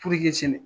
sɛnɛ